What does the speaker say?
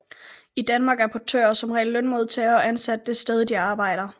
I Danmark er portører som regel lønmodtagere og ansat det sted de arbejder